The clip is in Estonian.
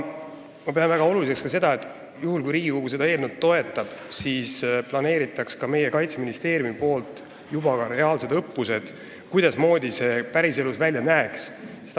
Ma pean oluliseks seda, et kui Riigikogu seda eelnõu toetab, siis planeeriks meie Kaitseministeerium reaalsed õppused, et oleks selge, kuidas see päriselus välja näeks.